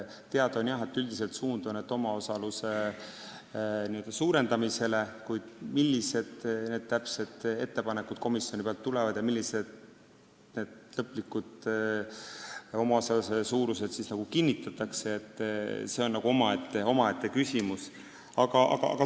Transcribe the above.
Teada on, et üldiselt on võetud suund omaosaluse suurendamisele, kuid see, millised täpsed ettepanekud komisjonilt tulevad ja millised lõplikud omaosaluse suurused kinnitatakse, on omaette küsimus.